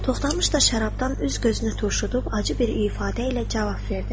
Toxdamış da şərabdan üz gözünü turşudub acı bir ifadə ilə cavab verdi.